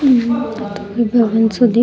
इथे भवन सो दि --